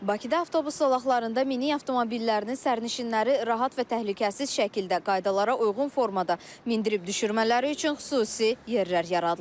Bakıda avtobus zolaqlarında minik avtomobillərinin sərnişinləri rahat və təhlükəsiz şəkildə qaydalara uyğun formada mindirib-düşürmələri üçün xüsusi yerlər yaradılıb.